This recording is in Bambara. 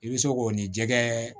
I bɛ se k'o ni jɛgɛ